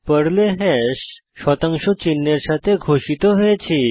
পর্লে হ্যাশ শতাংশ চিহ্ন এর সাথে ঘোষিত হয়েছে